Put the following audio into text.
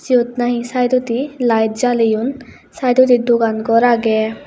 seyot nahi sydodi light jaleyun sydodi dogan gor agey.